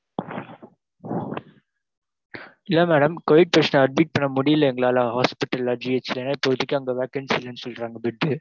இல்ல madam covid patient admit பண்ண முடியல எங்களால hospital ல GH ல இப்போதைக்கு vacancy இல்லன்னு சொல்றாங்க bed.